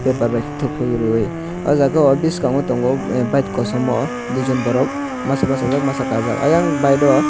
paper bai khe thuklubui rioui oh jaga o biskango tongo bike kosom o duijon borok masa bachajak masa kajak ayang bike o.